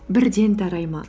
бірден тарай ма